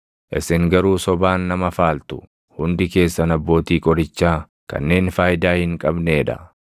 Isin garuu sobaan nama faaltu; hundi keessan abbootii qorichaa kanneen faayidaa hin qabnee dha!